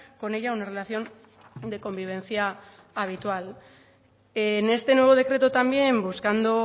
con ella una relación de convivencia habitual en este nuevo decreto también buscando